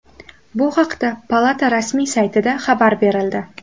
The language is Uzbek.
Bu haqda palata rasmiy saytida xabar berildi .